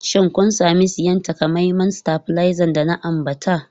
Shin kun sami siyan takamaiman stabilizer da na ambata?